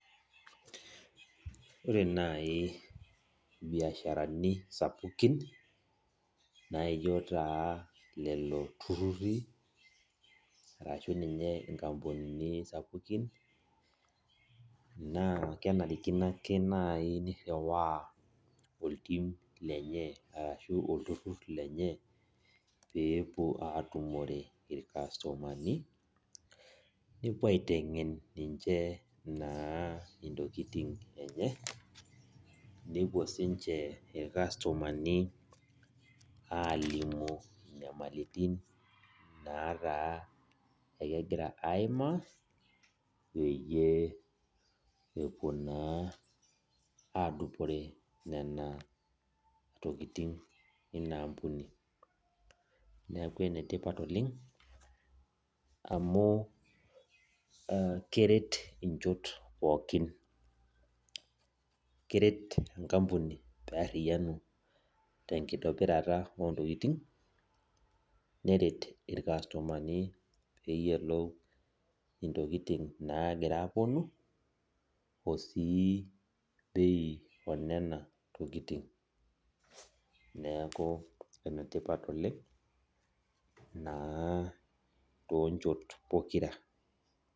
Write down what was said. Ore nai biasharani sapukin, naijo taa lelo turrurri, arashu ninye nkampunini sapukin, naa kenarikino ake nai nirriwaa oltim lenye arashu olturrur lenye, pepuo atumore irkastomani, nepuo aiteng'en ninche naa intokiting enye, nepuo sinche irkastomani alimu inyamalitin nataa ekegira aimaa, peyie epuo naa adupore nena tokiting ina ampuni. Neeku enetipat oleng, amu keret inchot pookin. Keret enkampuni pearriyianu tenkitobirata ontokiting, neret irkastomani peyiolou intokiting nagira aponu, osii bei onena tokiting. Neeku enetipat oleng, naa tonchot pokira.